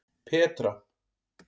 Petra